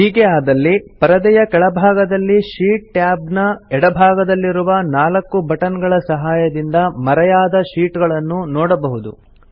ಹೀಗೆ ಆದಲ್ಲಿ ಪರದೆಯ ಕೆಳಭಾಗದಲ್ಲಿ ಶೀಟ್ ಟ್ಯಾಬ್ ನ ಎಡಭಾಗದಲ್ಲಿರುವ ನಾಲ್ಕು ಬಟನ್ ಗಳ ಸಹಾಯದಿಂದ ಮರೆಯಾದ ಶೀಟ್ ಗಳನ್ನು ನೋಡಬಹುದು